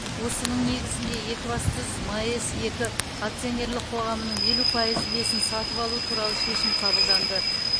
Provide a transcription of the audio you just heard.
осының негізінде екібастұз маэс екі акционерлік қоғамының елу пайыз үлесін сатып алу туралы шешім қабылданды